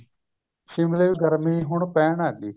ਸ਼ਿਮਲੇ ਗਰਮੀ ਹੁਣ ਪੈਣ ਲੱਗ ਗਈ